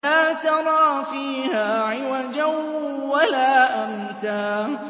لَّا تَرَىٰ فِيهَا عِوَجًا وَلَا أَمْتًا